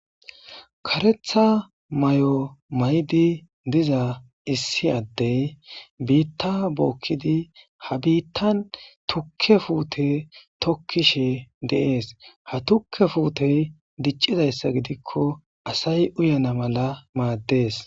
karetha may7o may7di diza issi addey biitta bookkidi ha biittan tukke fuute tokkishe deees ha tukke fuutey diccidayssa gidikko asay uyana mala maaddees